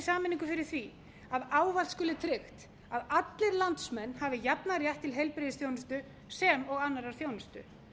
sameiningu fyrir því að ávallt skuli tryggt að allir landsmenn hafi jafnan rétt til heilbrigðisþjónustu sem og annarrar þjónustu